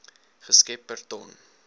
geskep per ton